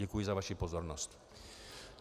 Děkuji za vaši pozornost.